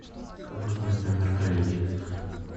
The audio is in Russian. как узнать номер коллеги